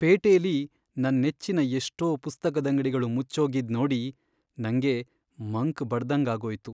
ಪೇಟೆಲಿ ನನ್ ನೆಚ್ಚಿನ ಎಷ್ಟೋ ಪುಸ್ತಕದಂಗ್ಡಿಗಳು ಮುಚ್ಚೋಗಿದ್ ನೋಡಿ ನಂಗೆ ಮಂಕ್ ಬಡ್ದಂಗಾಗೋಯ್ತು.